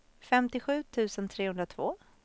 femtiosju tusen trehundratvå